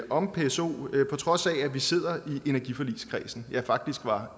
om pso på trods af at vi sidder i energiforligskredsen ja faktisk var